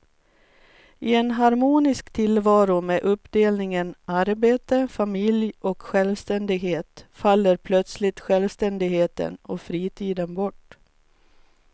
I en harmonisk tillvaro med uppdelningen arbete, familj och självständighet faller plötsligt självständigheten och fritiden bort.